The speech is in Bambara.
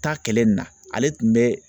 Taa kɛlɛ nin na ale tun bɛ